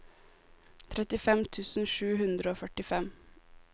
trettifem tusen sju hundre og førtifem